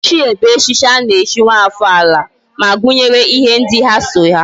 Ichie bu echichi ana echi nwa afo ala, ma gunyere ihe ndi ha so ya